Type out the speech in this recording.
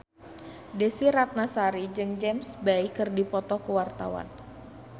Desy Ratnasari jeung James Bay keur dipoto ku wartawan